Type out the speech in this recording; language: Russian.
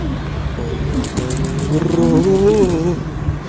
о ёбаный в рот